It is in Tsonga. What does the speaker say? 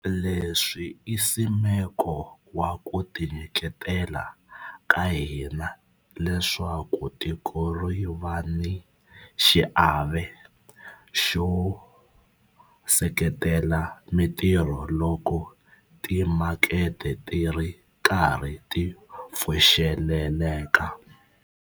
Leswi i nsimeko wa ku tinyiketela ka hina leswaku tiko ri va ni xiave xo seketela mitirho loko timakete ti ri karhi ti pfuxeleleka.